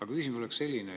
Aga küsimus on selline.